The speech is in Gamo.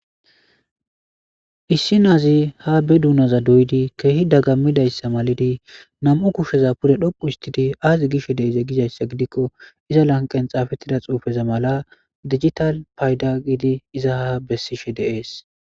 issi naazi ha be duunaza doydi keehi daggammidayssa malidi nam7u kusheza pure dhoqu istidi aazi gishe de7eze gizayssa gidikko iza lanqen xaafettida xuufeza mala digital payda gidi iza ha bessishe deees